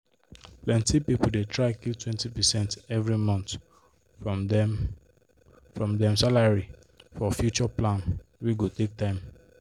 plenty people dey try keep 20 percent every month from dem from dem salary for future plan wey go take time.